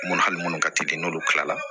Munnu hali munnu ka teli n'olu kila la